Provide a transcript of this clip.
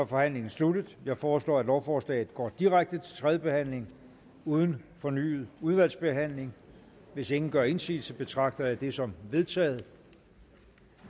forhandlingen sluttet jeg foreslår at lovforslaget går direkte til tredje behandling uden fornyet udvalgsbehandling hvis ingen gør indsigelse betragter jeg det som vedtaget